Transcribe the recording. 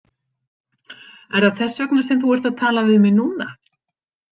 Er það þess vegna sem þú ert að tala við mig núna?